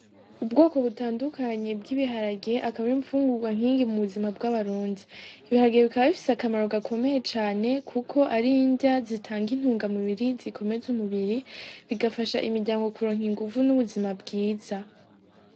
Ubwoko butandukanyi bw'ibiharage akabore impfungurwa nkingi mu buzima bw'abaronzi ibiharagiye bikaba bifise akamaro gakomeye cane, kuko ari ndya zitanga intunga mibiri zikome ze umubiri bigafasha imiryango kuronka inguvu n'ubuzima bwiza.